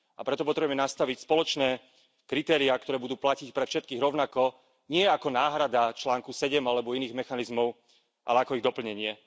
A preto potrebujeme nastaviť spoločné kritériá, ktoré budú platiť pre všetkých rovnako, nie ako náhrada článku 7 alebo iných mechanizmov, ale ako ich doplnenie.